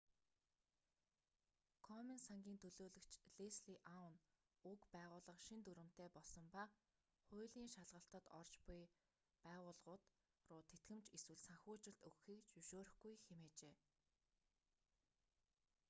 комен сангийн төлөөлөгч лесли аун уг байгууллага шинэ дүрэмтэй болсон ба хуулийн шалгалтад орж уй байгууллагууд руу тэтгэмж эсвэл санхүүжилт өгөхийг зөвшөөрөхгүй хэмээжээ